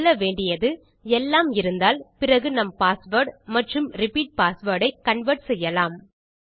சொல்ல வேண்டியது எல்லாம் இருந்தால் பிறகு நம் பாஸ்வேர்ட் மற்றும் ரிப்பீட் பாஸ்வேர்ட் ஐ கன்வெர்ட் செய்யலாம்